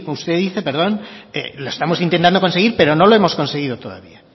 usted dice lo estamos intentando conseguir pero no lo hemos conseguido todavía